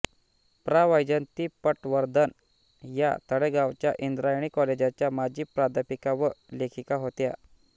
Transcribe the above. प्रा वैजयंती पटवर्धन या तळेगावच्या इंद्रायणी कॉलेजाच्या माजी प्राध्यापिका व लेखिका होत्या